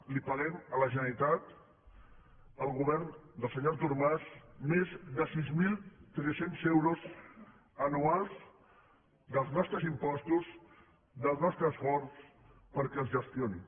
li paguem a la generalitat al govern del senyor artur mas més de sis mil tres cents euros anuals dels nostres impostos del nostre esforç perquè els gestioni